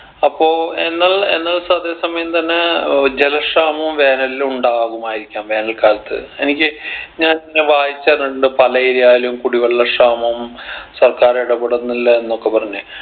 അപ്പൊ എന്നത് എന്ന സതെ സമയം തന്നെ ഏർ ജല ക്ഷാമവും വേനലിൽ ഉണ്ടാകുമായിരിക്കാം വേനൽ കാലത്ത് എനിക്ക് ഞാൻ വായിച്ച അറിഞ്ഞിട്ടുണ്ട് പല area ലും കുടിവെള്ള ക്ഷാമം സർക്കാർ ഇടപെടുന്നില്ല എന്നൊക്കെ പറഞ്ഞ്